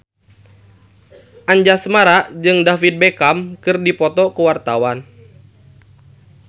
Anjasmara jeung David Beckham keur dipoto ku wartawan